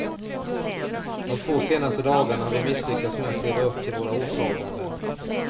De två senaste dagarna har vi misslyckats med att leva upp till våra åtaganden.